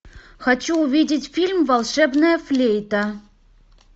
хочу увидеть фильм волшебная флейта